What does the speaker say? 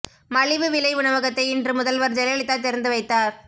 மலிவு விலை உணவகத்தை இன்று முதல்வர் ஜெயலலிதா திறந்து வைத்தார்